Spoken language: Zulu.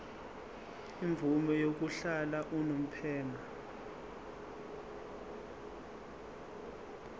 imvume yokuhlala unomphema